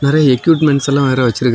எதோ எக்யூப்மென்ட்ஸெல்லாம் வேற வெச்சிருக்காங்க.